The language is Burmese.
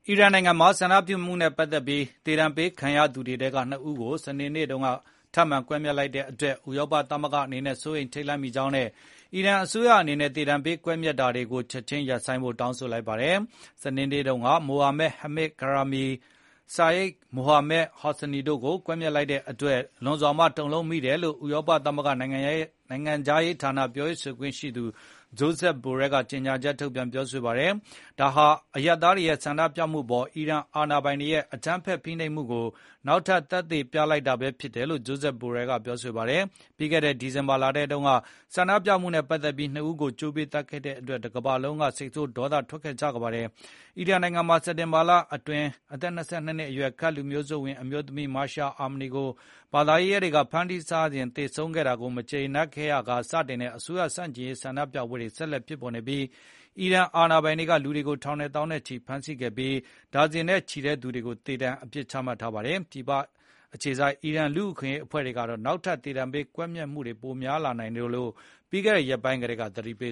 အီရန်နိုင်ငံမှာဆန္ဒပြမှုနဲ့ပတ်သက်ပြီး သေဒါဏ်ပေးခံရသူတွေထဲက ၂ ဦးကို စနေနေ့တုန်းကထပ်မံကွက်မျက်လိုက်တဲ့ အတွက် EU ဥရောပသမဂ္ဂအနေနဲ့ စိုးရိမ်ထိတ်လန့်မိကြောင်းနဲ့ အီရန်အစိုးရအနေနဲ့ သေဒါဏ်ပေးတာတွေနဲ့ကွက်မျက် တွေကိုချက်ခြင်းရပ်ဖို့တောင်းဆိုလိုက်ပါတယ်။ စနေနေ့တုန်းက Mohammad Mehdi Karami နဲ့ Seyyed Mohammad Hosseini တို့ကို ကွက်မျက်လိုက်တဲ့အတွက် လွန်စွာတုန်လှုပ်မိတယ်လို့ ဥရောပသမဂ္ဂနိုင်ငံခြားရေးဌာနပြောရေးဆိုခွင့်ရှိသူ Josep Borell ကကြေငြာချက်ထုတ်ပြန် ပြောဆိုပါတယ်။ ဒါဟာ အရပ်သားတွေရဲ့ဆန္ဒပြမှုအပေါ် အီရန်အာဏာပိုင်တွေရဲ့ အကြမ်းဖက်ဖိနှိပ်မှုကို နောက်ထပ်သက်သေပြလိုက်တာ ဘဲဖြစ်တယ်လို့လည်း Josep Borell ကပြောဆိုပါတယ်။ ပြီးခဲ့တဲ့ ဒီဇင်ဘာလထဲတုန်းကလည်း ဆန္ဒပြမှုနဲ့ပတ်သက်ပြီး ၂ ဦးကိုကြိုးပေးသတ်ခဲ့တဲ့အတွက် တကမ္ဘာလုံးက စိတ်ဆိုးဒေါသထွက်ခဲ့ကြပါတယ်။ အီရန်နိုင်ငံမှာ စက်တက်ဘာလအတွင် အသက် ၂၂ အရွယ်ကဒ်လူမျိုးစုဝင် အမျိုးသမီး မာရှာအာမနီ ကိုဘာသာရေးရဲ တွေကဖမ်းဆီးထားစဉ်သေဆုံးခဲ့တာကိုမကြေနပ်ရာကစတင်ခဲ့တဲ့ အစိုးရဆန့်ကျင်ရေးဆန္ဒပြပွဲတွေဆက်လက်ဖြစ်ပေါ်နေ ပြီး၊ အီရန်အာဏာပိုင်တွေက လူတွေထောင်နဲ့သောင်းနဲ့ချီဖမ်းဆီးခဲ့ပြီး၊ ဒါဇင်နဲ့ချီတဲ့သူတွေကိုသေဒါဏ်အပစ်ချမှတ်ထား ပါတယ်။ ပြည်ပအခြေစိုက်အီရန်လူ့အခွင့်အရေးအဖွဲ့တွေက နောက်ထပ်သေဒါဏ်ပေးကွက်မျက်မှုတွေပိုတိုးလာနိုင်တယ်လို့ ပြီးခဲ့တဲ့ရက်ပိုင်း ကတည်းကသတိပေ